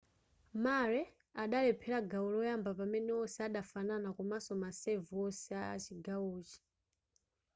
murray adalephera gawo loyamba pamene wonse adafanana komanso ma serve wonse achigawochi